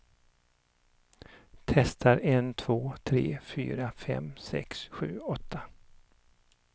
Testar en två tre fyra fem sex sju åtta.